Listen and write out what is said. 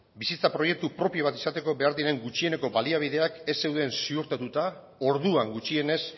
bizitza proiektu propio bat izateko behar diren gutxieneko baliabideak ez zeuden ziurtatuta orduan gutxienez